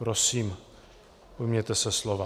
Prosím, ujměte se slova.